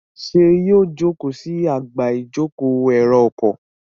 ṣe yíò joko sí Àga ìjókòó èrò ọkọ̀?